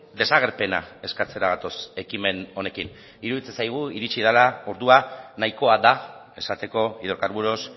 desagerpena eskatzera gatoz ekimen honekin iruditzen zaigu iritsi dela ordua nahikoa da esateko hidrocarburos